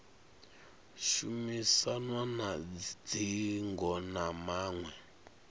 shumisanwa na dzingo na maṅwe